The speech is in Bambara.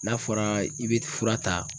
N'a fɔra i bi fura ta.